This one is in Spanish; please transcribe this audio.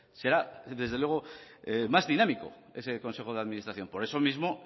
será desde luego más dinámico ese consejo de administración por eso mismo